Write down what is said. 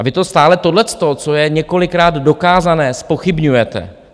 A vy to stále tohleto, co je několikrát dokázané, zpochybňujete.